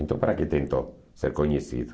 Então, para que tentou ser conhecido?